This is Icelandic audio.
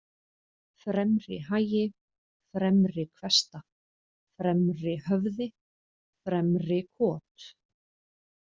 Fremrihagi, Fremrihvesta, Fremrihöfði, Fremrikot